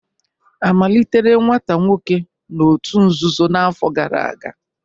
A malitere nwata nwoke n'òtù nzuzo n'afọ gara aga?